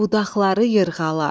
Budaqları yırğalar.